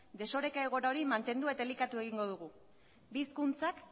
desoreka egoera hori mantendu eta elikatu egingo dugu bi hizkuntzak